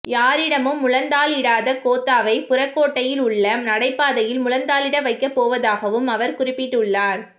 யாரிடமும் முழந்தாழிடாத கோத்தாவை புறக்கோட்டையில் உள்ல நடைபாதையில் முழந்தாழிட வைக்கப்பஓவதாகவும் அவர் குறிப்பிட்டுள்ளார்